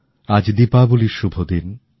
আজ দীপাবলির শুভদিন